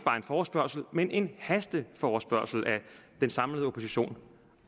forespørgsel men til en hasteforespørgsel af den samlede opposition